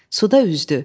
Suda üzdü.